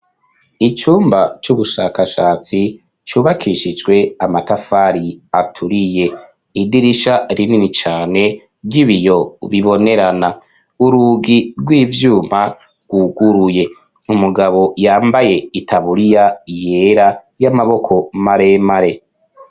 Icumba c'ubushakashatsi cubakishijwe amatafari aturiye. Idirisha rinini cane ry'ibiyo bibonerana urugi rw'ivyuma rwuguruye umugabo yambaye itaburiya yera y'amaboko maremare.